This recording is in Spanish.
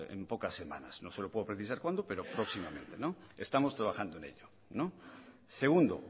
en pocas semanas no se lo puedo precisar cuándo pero próximamente estamos trabajando en ello segundo